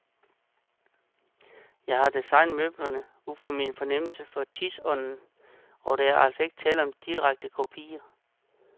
Jeg har designet møblerne ud fra min fornemmelse for tidsånden, og der er altså ikke tale om direkte kopier.